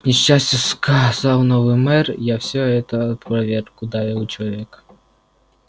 к несчастью сказал новый мэр я всё это опроверг ударил человека